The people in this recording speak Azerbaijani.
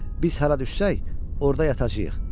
Biz hara düşsək, orda yatacağıq.